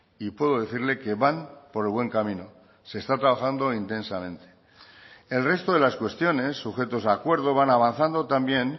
y puedo decirle que van por el buen camino se está trabajando intensamente el resto de las cuestiones sujetos a acuerdo van avanzando también